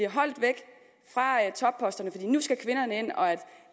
holdt væk fra topposterne for nu skal kvinderne ind og at